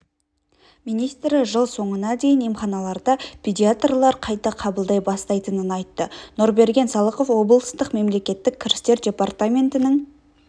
министрі жыл соңына дейін емханаларда педиатрлар қайта қабылдай бастайтынын айтты нұрберген салықов облыстық мемлекеттік кірістер департаментінің